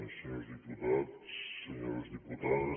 senyors diputats senyores diputades